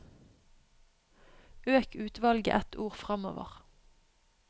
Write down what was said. Øk utvalget ett ord framover